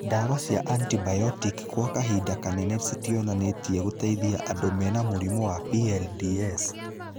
Dawa cia antibiotic kwa kahinda kanene citionanĩtie gũteithia andũ mena mũrimũ wa PLDS